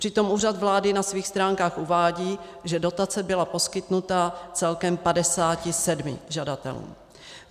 Přitom Úřad vlády na svých stránkách uvádí, že dotace byla poskytnuta celkem 57 žadatelům.